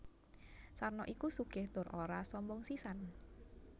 Sarno iku sugih tur ora sombong sisan